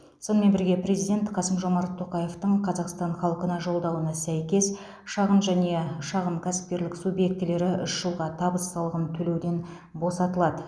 сонымен бірге президент қасым жомарт тоқаевтың қазақстан халқына жолдауына сәйкес шағын және шағын кәсіпкерлік субъектілері үш жылға табыс салығын төлеуден босатылады